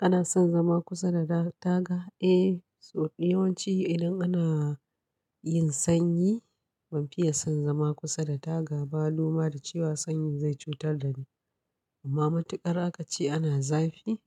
Kana son zama kusa da dar-taga? Eh, so yawan ci idan ana yin sanyi, ban fiye son zama kusa da taga ba loma da cewa sanyi zai cutar da ni. Amma matuƙar akace ana zafi,